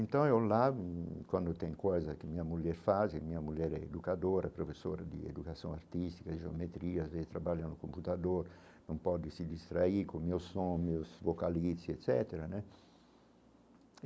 Então, eu quando eu tenho coisas que a minha mulher faz, e a minha mulher é educadora, professora de educação artística, geometrias, e trabalha no computador, não pode se distrair com o meu som, os meus vocalistas, e etc né.